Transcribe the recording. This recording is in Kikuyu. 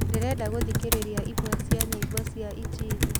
ndĩrenda gũthĩkĩrĩrĩa ĩmwe cĩa nyĩmbo cĩa ĩnjĩlĩ